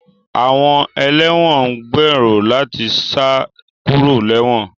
Àwọn ẹlẹ́wọ̀n ń gbèrò láti sá kúrò léwọ̀n